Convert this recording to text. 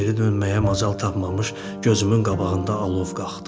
Geri dönməyə macal tapmamış gözümün qabağında alov qalxdı.